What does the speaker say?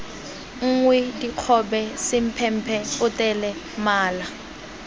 nngwe dikgobe semphemphe potele mala